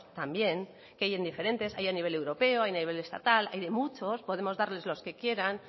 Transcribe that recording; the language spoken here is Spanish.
también que hay diferentes hay en nivel europeo hay en nivel estatal hay de muchos podemos darles los que quieran